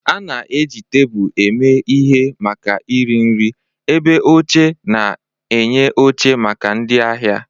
A na-eji tebụl eme ihe maka iri nri, ebe oche na-enye oche maka ndị ahịa.